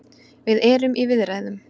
Við erum í viðræðum.